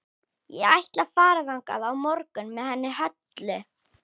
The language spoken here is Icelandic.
Ég ætla að fara þangað á morgun með henni Höllu.